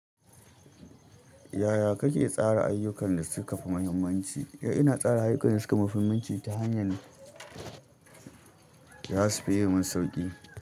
Yaya kake tsara ayyukan da suka fi muhimmanci? Ina tsara ayyukan da suka fi muhimmanci ta hanyar da za su fi yi mun sauƙi.